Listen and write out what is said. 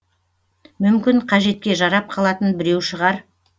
мүмкін қажетке жарап қалатын біреу шығар